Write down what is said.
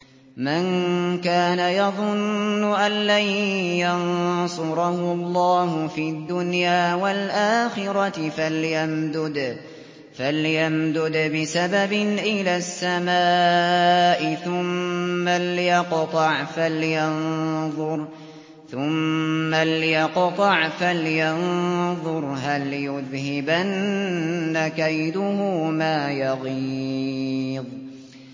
مَن كَانَ يَظُنُّ أَن لَّن يَنصُرَهُ اللَّهُ فِي الدُّنْيَا وَالْآخِرَةِ فَلْيَمْدُدْ بِسَبَبٍ إِلَى السَّمَاءِ ثُمَّ لْيَقْطَعْ فَلْيَنظُرْ هَلْ يُذْهِبَنَّ كَيْدُهُ مَا يَغِيظُ